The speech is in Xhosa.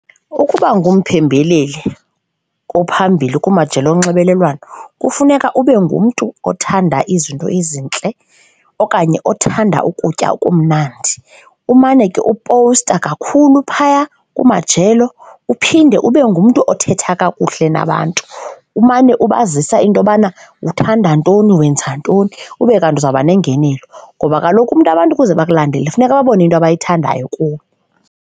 Ukuba ngumpembeleli ophambili kumajelo onxibelelwano kufuneka ube ngumntu othanda izinto ezintle okanye othanda ukutya okumnandi, umane ke upowusta kakhulu phaya kumajelo. Uphinde ube ngumntu othetha kakuhle nabantu, umane ubazisa into yobana uthanda ntoni, wenza ntoni ube kanti uza kuba nengenelo. Ngoba kaloku umntu abantu ukuze bakulandele funeka babone into abayithandayo kuwe.